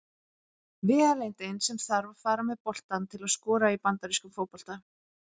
Vegalengdin sem þarf að fara með boltann til að skora í bandarískum fótbolta.